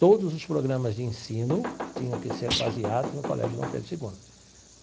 Todos os programas de ensino tinham que ser baseados no Colégio Dom Pedro Segundo.